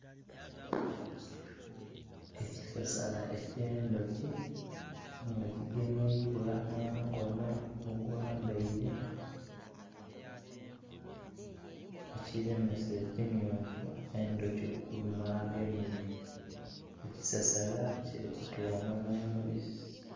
Ekisasala ekye'ndhoki nga kigemeibwa nho mukono ogwambaire ekiremeesa ekimyufu endhoki okuluma agemye ekisasala kiri kutonha nho mubisi.